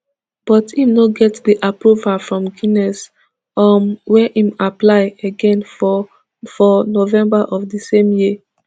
but im no get di approval from guinness um wey im apply again for for november of di same year